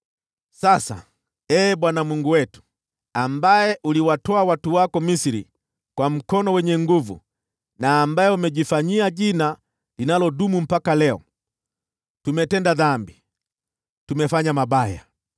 “Sasa, Ee Bwana Mungu wetu, ambaye uliwatoa watu wako Misri kwa mkono wenye nguvu, na ambaye umejifanyia Jina linalodumu mpaka leo, tumetenda dhambi, tumefanya mabaya.